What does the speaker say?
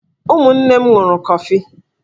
Ụmụnne m ṅụrụ kọfi.